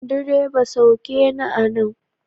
Direba, sauke ni a nan!